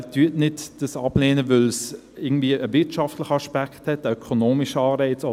Lehnen Sie dies nicht ab, weil es irgendwie einen wirtschaftlichen Aspekt, einen ökonomischen Anreiz hat.